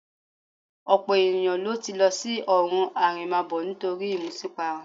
Ọ̀pọ̀ ènìyàn ló ti lọ sí ọ̀run àrèmábọ̀ nítorí ìmutípara